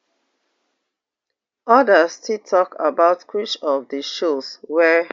odas still tok about which of di shows wey